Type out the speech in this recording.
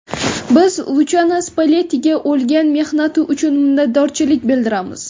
Biz Luchano Spallettiga ulgan mehnati uchun minnatdorchilik bildiramiz.